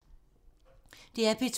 DR P2